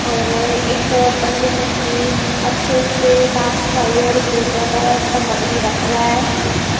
और एक पंडित उनके अच्छे से साफ सफाई और पूजा का समग्री रख रहा है।